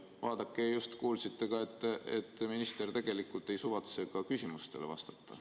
Ja vaadake, just kuulsite ka, et minister tegelikult ei suvatse ka küsimustele vastata.